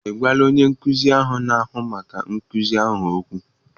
Ị gwala onye nkuzi na-ahụ maka nkuzi ahụ okwu?